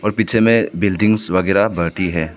और पीछे में बिल्डिंग्स वगैरा है।